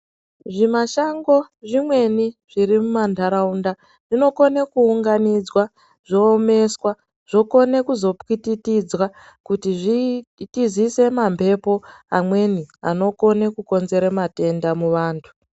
Zvimashango zvimweni zviri mumantaraunda zvinokone kuunganidzwa, zvoomeswa zvokone kuzopwititidzwa kuti zvitizise mamhepo amweni anokone kukonzere matenda muvantu.